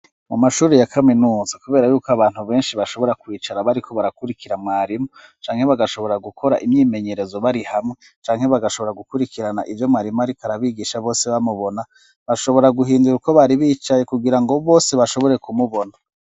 Mu mashuri ya kaminuza kubera yuko abantu benshi bashobora kwicara bariko barakurikira mwarimu canke bagashobora gukora imyimenyerezo bari hamwe canke bagashobora gukurikirana ivyo mwarimu ariko arabigisha bose bamubona , bashobora guhindura uko bari bicaye kugira ngo bose bashobore kumubona.